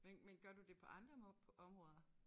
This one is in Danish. Men men gør du det på andre områder